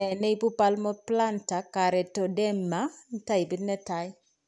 Nee neibu palmoplantar karetoderma taipit netaa